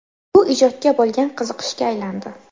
Bu ijodga bo‘lgan qiziqishga aylandi.